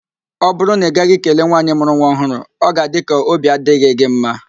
Ọ bụrụ na ị gaghị kelee nwaanyị mụrụ nwa ọhụrụ, ọ ga-adị ka óbí adịghị gị mma